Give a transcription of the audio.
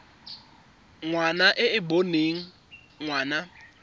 ngwana e e boneng ngwana